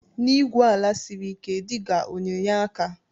Na igwu ala siri ike diga ọna enye aka?